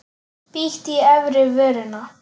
Bít í efri vörina.